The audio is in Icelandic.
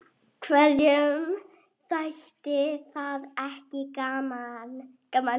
Hverjum þætti það ekki gaman?